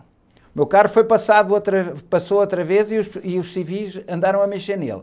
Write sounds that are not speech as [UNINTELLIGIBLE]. O meu carro foi passado outra, passou outra vez e os, [UNINTELLIGIBLE] e os civis andaram a mexer nele.